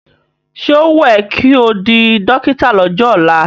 Ṣé ó wùn ẹ́ ko di dọ́kítà lọ́jọ́ ọ̀la?